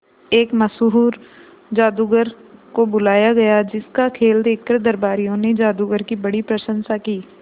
एक मशहूर जादूगर को बुलाया गया जिस का खेल देखकर दरबारियों ने जादूगर की बड़ी प्रशंसा की